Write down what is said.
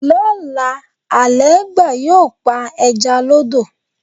Lóla, Àlẹ́ẹ́gbà yóò pa ẹja lọ́dọ̀.